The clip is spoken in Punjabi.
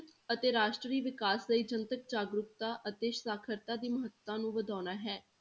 ਅਤੇ ਰਾਸ਼ਟਰੀ ਵਿਕਾਸ ਲਈ ਜਨਤਕ ਜਾਗਰੂਕਤਾ ਅਤੇ ਸਾਖ਼ਰਤਾ ਦੀ ਮਹੱਤਤਾ ਨੂੰ ਵਧਾਉਣਾ ਹੈ।